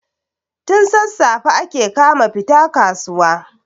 tun sassafe ake kama fita kasuwa